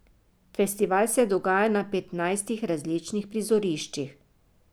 Festival se dogaja na petnajstih različnih prizoriščih.